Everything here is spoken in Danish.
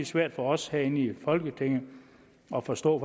svært for os herinde i folketinget at forstå